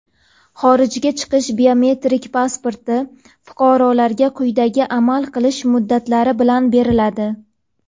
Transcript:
Xorijga chiqish biometrik pasporti fuqarolarga quyidagi amal qilish muddatlari bilan beriladi:.